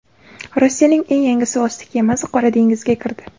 Rossiyaning eng yangi suvosti kemasi Qora dengizga kirdi.